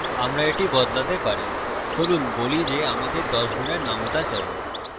আমরা এটি বদলাতে পারি চলুন বলি যে আমাদের 10 গুনের নামতা চাই